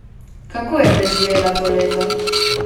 Kako je preživela to leto?